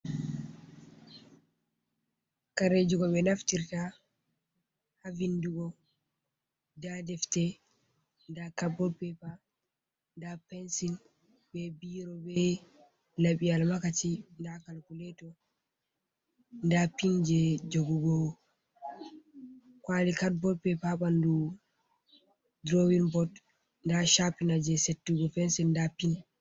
Kareju goɓe naftirta havindugo nda defte nda caboodpepa nda pensil be biro be labi’al makachi nda calkuleto nda pin je jogugo kwali caboodpepa ha bandu drowinbot nda chappina je settugo pensil nda pin.